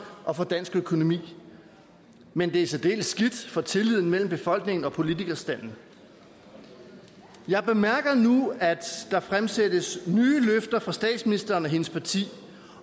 og for dansk økonomi men det er særdeles skidt for tilliden mellem befolkningen og politikerstanden jeg bemærker nu at der fremsættes nye løfter fra statsministeren og hendes parti